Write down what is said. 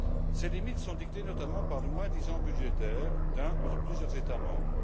Ces limites sont dictées notamment par le moins disant budgétaire d'un ou de plusieurs États membres.